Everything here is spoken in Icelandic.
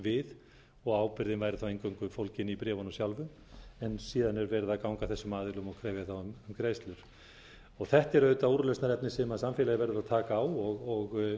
við og ábyrgðin væri eingöngu fólgin í bréfunum sjálfum síðan er verið að ganga að þessum aðilum og krefja um greiðslur þetta er auðvitað úrlausnarefni sem samfélagið verður að taka á og